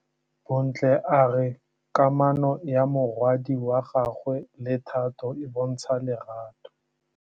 Bontle a re kamanô ya morwadi wa gagwe le Thato e bontsha lerato.